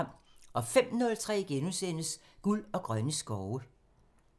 05:03: Guld og grønne skove *